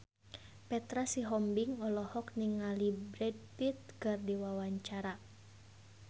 Petra Sihombing olohok ningali Brad Pitt keur diwawancara